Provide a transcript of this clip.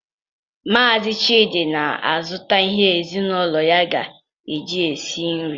Maazi Chidi na-azụta ihe ezinaụlọ ya ga-eji sie nri.